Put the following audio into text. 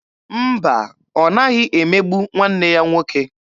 Mba, ọ naghị emegbu nwanne ya nwoke.